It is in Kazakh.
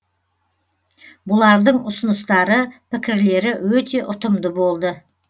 бұлардың ұсыныстары пікірлері өте ұтымды болды